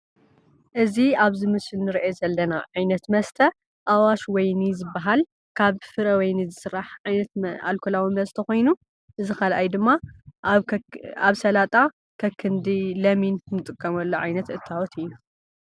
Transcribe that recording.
እዚ ኣብዚ ምስሊ ንርኦ ዘለና ዓይነት መስተ ኣዋሽ ወይኒ ዝባሃል ካብ ፍረ ወይኒ ዝስራሕ ዓይነት ኣልኮላዊ መስተ ኮይኑ እዚ ካልኣይ ድማ ኣብ ሰላጣ ከክንዲ ለሚን እንጥቀመሉ ዓይነት እታወት እዩ።